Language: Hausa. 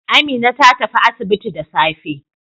Amina ta tafi asibiti da safe.